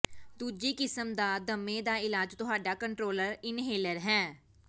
ਦੂਜੀ ਕਿਸਮ ਦਾ ਦਮੇ ਦਾ ਇਲਾਜ ਤੁਹਾਡਾ ਕੰਟਰੋਲਰ ਇਨਹਲਰ ਹੈ